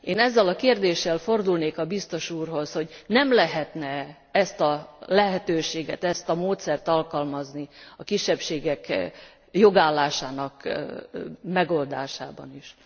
Én ezzel a kérdéssel fordulnék a Biztos úrhoz, hogy nem lehetne e ezt a lehetőséget, ezt a módszert alkalmazni a kisebbségek jogállásának megoldásában is?